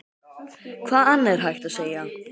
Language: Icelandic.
Hvað annað er hægt að segja?